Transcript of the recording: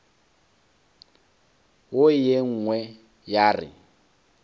wo ye nngwe ya re